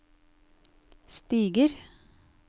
stiger